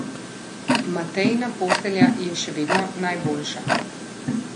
Matejina postelja je še vedno najboljša.